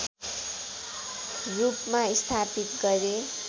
रूपमा स्थापित गरे